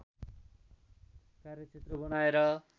कार्यक्षेत्र बनाएर